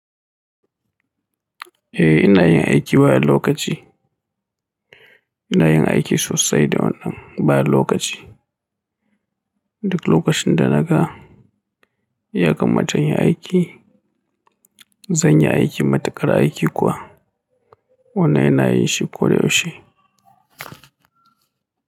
Eh ina yin aiki bayan lokaci. Ina yin aiki sosai da wannan baya lokaci. Duk lokacin da naga ya kamata inyi aiki, zan yi aiki. Matukar aiki kuwa wannan yana yin shi koyaushe.